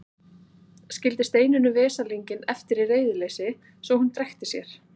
Skildi Steinunni veslinginn eftir í reiðileysi svo að hún drekkti sér.